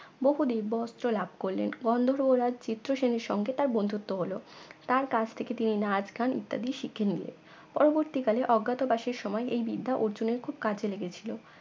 বহু দিব্য অস্ত্র লাভ করলেন গন্ধর্ব রাজ চিত্রসেনের সঙ্গে তার বন্ধুত্ব হল তার কাছ থেকে তিনি নাচ গান ইত্যাদি শিখে নিলেন পরবর্তীকালে অজ্ঞাতবাসের সময় এই বিদ্যা অর্জুনের খুব কাজে লেগেছিল